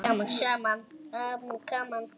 Gaman saman.